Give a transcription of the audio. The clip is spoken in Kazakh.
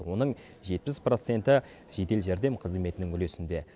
оның жетпіс проценті жедел жәрдем қызметінің үлесінде